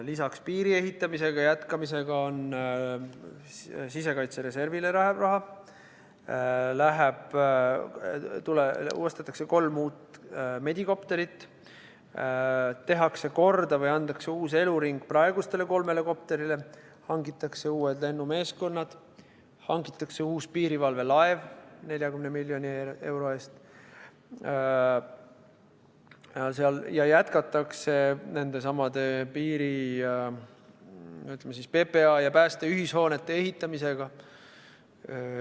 Lisaks piiriehitamise jätkamisega läheb raha sisekaitsereservile, ostetakse kolm uut medikopterit, tehakse korda või antakse uus eluring praegusele kolmele kopterile, hangitakse uued lennumeeskonnad, hangitakse uus piirivalvelaev 40 miljoni euro eest ja jätkatakse, ütleme siis, PPA ja Päästeameti ühishoonete ehitamisega.